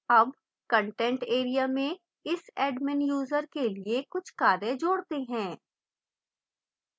add content area में इस admin user के लिए कुछ कार्य जोड़ते हैं